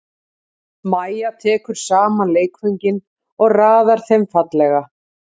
Mæja tekur saman leikföngin og raðar þeim fallega.